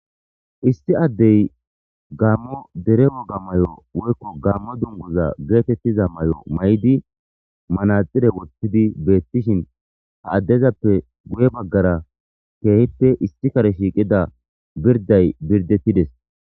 isti addey gaammo dere woga may7o woykko gammo dunguza geetettiza may7o may7di manaxire wothtidi beettishin ha addezappe guye baggara keehippe isti kare shiiqida birday birdettides